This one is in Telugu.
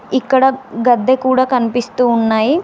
ఇక్కడ గడ్డ కూడా కనిపిస్తూ ఉన్నాయి.